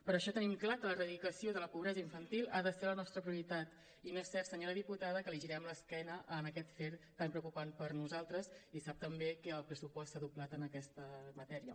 per això tenim clar que l’erradicació de la pobresa infantil ha de ser la nostra prioritat i no és cert senyora diputada que li girem l’esquena en aquest afer tan preocupant per nosaltres i sap també que el pressupost s’ha doblat en aquesta matèria